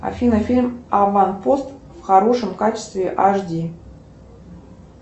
афина фильм аванпост в хорошем качестве аш ди